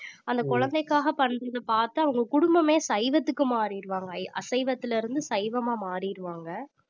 அந்த குழந்தைக்காக பண்றத பாத்து அவங்க குடும்பமே சைவத்துக்கு மாறிருவாங்க அசைவத்திலிருந்து சைவமா மாறிருவாங்க